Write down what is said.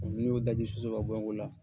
O min be daji sɔnsɔn ka bɔn ola